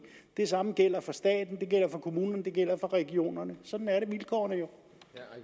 det samme gælder for staten det gælder for kommunerne det gælder for regionerne sådan er vilkårene jo